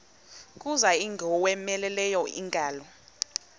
kuza ingowomeleleyo ingalo